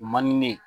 O man di ne ye